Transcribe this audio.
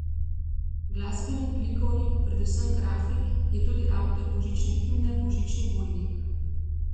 Glasbenik, likovnik, predvsem grafik, je tudi avtor božične himne Božični Vojnik.